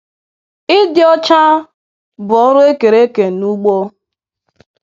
Ịdị ọcha bụ ọrụ ekere eke n'ugbo.